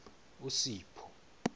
usipho